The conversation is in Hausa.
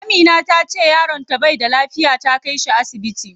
Amina tace yaron ta bai da lafiya, ta kai shi asibiti.